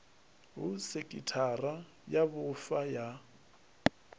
ha sekhithara ya vhufa ya